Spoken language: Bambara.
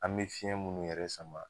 An be fiɲɛ munnu yɛrɛ sama